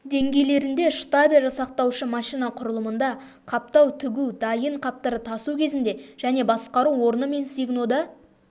деңгейлерінде штабель жасақтаушы машина құрылымында қаптау тігу дайын қаптарды тасу кезінде және басқару орны мен сигнода